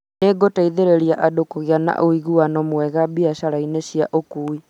nĩĩgũteithĩrĩria andũ kũgĩa na ũiguano mwega biacara-inĩ cia ũkuui